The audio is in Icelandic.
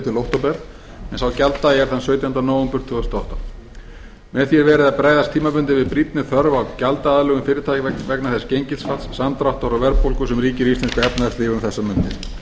til október en sá gjalddagi er sautjándi nóvember tvö þúsund og átta með því er verið að bregðast tímabundið við brýnni þörf á gjaldaaðlögun fyrirtækja vegna þess gengisfalls samdráttar og verðbólgu sem ríkir í íslensku efnahagslífi um þessar mundir